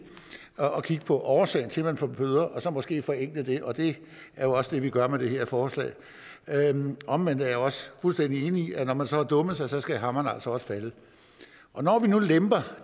at kigge på årsagen til at man får bøder og så måske forenkle det og det er jo også det vi gør med det her forslag omvendt er jeg også fuldstændig enig i at når man så har dummet sig skal hammeren altså også falde og når vi nu lemper